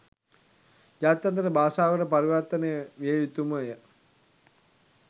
ජාත්‍යන්තර භාෂාවකට පරිවර්තනය විය යුතු ම ය.